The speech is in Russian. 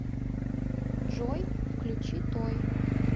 джой включи той